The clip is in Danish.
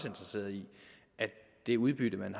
interesseret i at det udbytte man